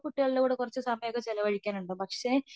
കുട്ടികളോട് കുറച്ച് സമയം ഒക്കെ ചെലവഴിക്കാറുണ്ടാകും പക്ഷേ